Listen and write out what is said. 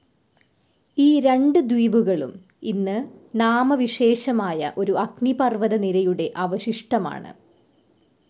ഈ രണ്ട് ദ്വീപുകളും ഇന്ന് നാമവിശേഷമായ ഒരു അഗ്നിപർവ്വത നിരയുടെ അവശിഷ്ടം ആണ്.